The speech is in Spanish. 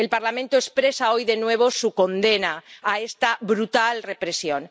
El Parlamento expresa hoy de nuevo su condena a esta brutal represión.